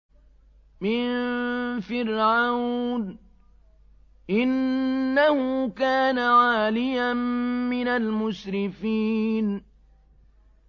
مِن فِرْعَوْنَ ۚ إِنَّهُ كَانَ عَالِيًا مِّنَ الْمُسْرِفِينَ